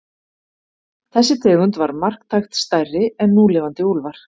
Þessi tegund var marktækt stærri en núlifandi úlfar.